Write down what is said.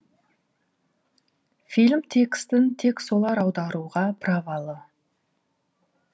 фильм текстін тек солар аударуға праволы